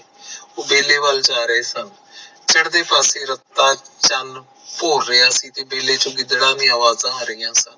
ਉਹ ਤਬੇਲੇ ਵੱਲ ਜਾ ਰਹੇ ਸਨ ਚੜਦੇ ਪਾਸੇ ਰੱਤ ਚੰਨ ਭੋਰ ਰਿਹਾ ਸੀ ਤਬੇਲੇ ਚੋ ਗਿਦੜਾਂ ਦੀ ਅਵਾਜਾ ਆ ਰਹਿਹਾ ਸਨ